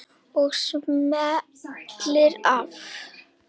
Og smellir af.